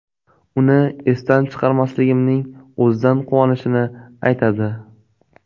Uni esdan chiqarmasligimning o‘zidan quvonishini aytadi.